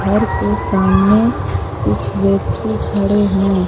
घर के सामने कुछ व्यक्ति खड़े हैं।